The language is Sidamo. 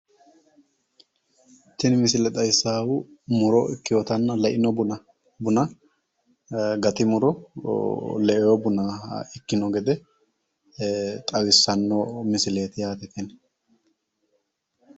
Tini misile xawissaahu muro ikkewootanna leino buna gati muro le"ewo buna ikkewo gede xawissanno misileeti yaate tini.